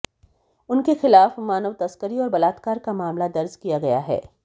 उनके खिलाफ मानव तस्करी और बलात्कार का मामला दर्ज किया गया है